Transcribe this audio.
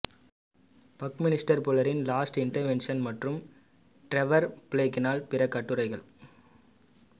Buckminster ஃபுல்லரின் lost inventions மற்றும் Trevor பிளேக்கினால் பிற கட்டுரைகள்